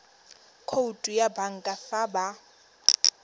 khoutu ya banka fa ba